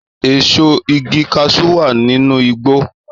Èso igi kaṣú wà nínú igbó